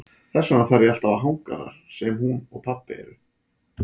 Þess vegna þarf ég alltaf að hanga þar sem hún og pabbi eru.